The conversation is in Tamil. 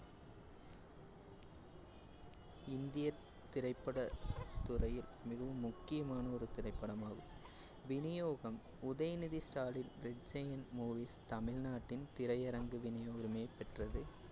இந்திய திரைப்படத்துறையில் மிகவும் முக்கியமான ஒரு திரைப்படமாகும். விநியோகம் Udhayanidhi Stalin red giant movies தமிழ்நாட்டின் திரையரங்கு விநியுரிமை பெற்றது